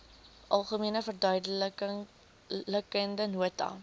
algemene verduidelikende nota